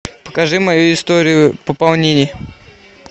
покажи мою историю пополнений